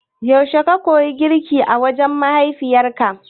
Yaushe ka koyi girki a wajen mahaifiyarka?